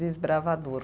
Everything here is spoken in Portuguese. Desbravador.